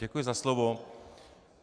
Děkuji za slovo.